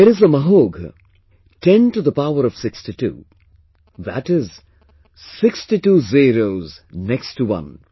There is a Mahogha 10 to the power of 62, that is, 62 zeros next to one